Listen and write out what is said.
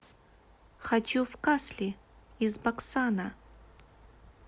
хочу в касли из баксана